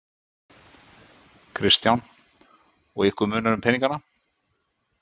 Kristján: Og ykkur munar um peningana?